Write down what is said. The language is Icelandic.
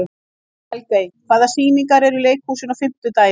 Helgey, hvaða sýningar eru í leikhúsinu á fimmtudaginn?